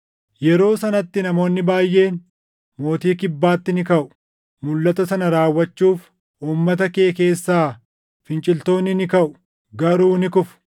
“Yeroo sanatti namoonni baayʼeen mootii Kibbaatti ni kaʼu. Mulʼata sana raawwachuuf uummata kee keessaa finciltoonni ni kaʼu; garuu ni kufu.